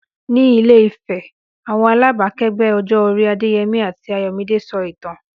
Ní Ilé-Ifẹ̀, àwọn alábàákẹ́gbẹ́ ọjọ́ orí Adéyẹmi àti Ayọ̀míde sọ ìtàn.